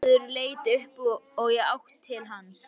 Varðmaður leit upp og í átt til hans.